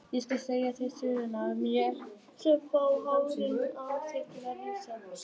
Ég skal segja þér sögur af mér sem fá hárin á þér til að rísa.